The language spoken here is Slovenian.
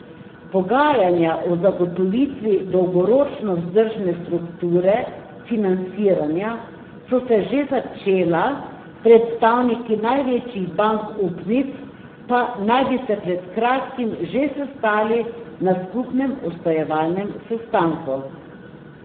Pogajanja o zagotovitvi dolgoročno vzdržne strukture financiranja so se že začela, predstavniki največjih bank upnic pa naj bi se pred kratkim že sestali na skupnem usklajevalnem sestanku.